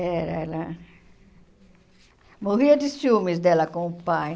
Era, ela... Morria de ciúmes dela com o pai.